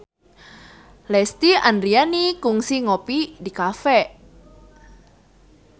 Lesti Andryani kungsi ngopi di cafe